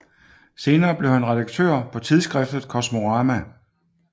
Senere blev han redaktør på tidsskriftet Kosmorama